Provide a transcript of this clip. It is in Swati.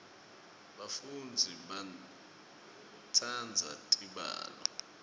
bafundzi batsandza tibalo